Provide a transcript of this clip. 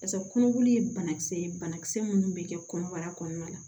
Pase kɔnɔboli ye banakisɛ ye banakisɛ minnu bɛ kɛ kɔnɔbara kɔnɔna la